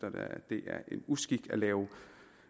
det er en uskik at lave